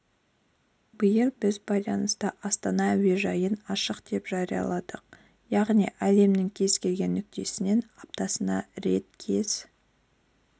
биыл біз байланысты астана әуежайын ашық деп жарияладық яғни әлемнің кез келген нүктесінен аптасына рет кез